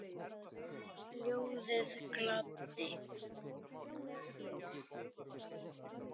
Ljóðið gladdi.